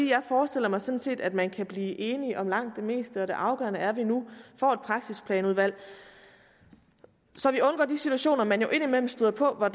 jeg forestiller mig sådan set at man kan blive enig om langt det meste det afgørende er at vi nu får et praksisplanudvalg så vi undgår de situationer man jo indimellem støder på hvor